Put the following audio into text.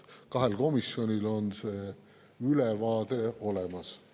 Kahel komisjonil on see ülevaade olemas.